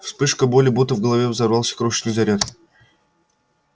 вспышка боли будто в голове взорвался крошечный заряд